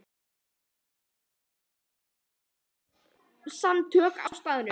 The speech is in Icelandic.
Ég gekk einnig í félagasamtök á staðnum.